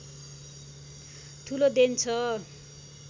ठूलो देन छ